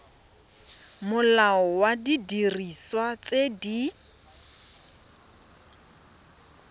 molao wa didiriswa tse di